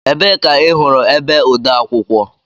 Ebee ka ị hụrụ ebe odeakwụkwọ?